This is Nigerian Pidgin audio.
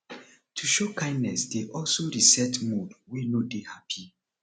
to show kindness dey also reset mood wey no de happy